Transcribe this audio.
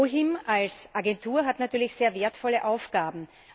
OHIM als Agentur hat natürlich sehr wertvolle Aufgaben.